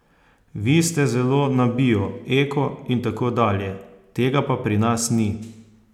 Vi ste zelo za bio, eko in tako dalje, tega pa pri nas ni.